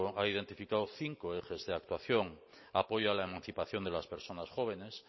ha identificado cinco ejes de actuación apoyo a la emancipación de las personas jóvenes